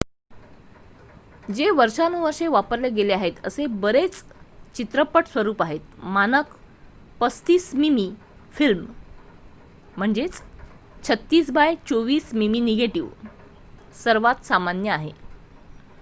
जे वर्षानुवर्षे वापरले गेले आहेत असे बरेच चित्रपट स्वरूप आहेत. मानक 35 मिमी फिल्म 36 बाय 24 मिमी निगेटिव्ह सर्वात सामान्य आहे